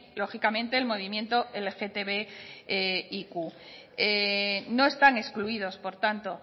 lógicamente el movimiento lgtbiq no están excluidos por tanto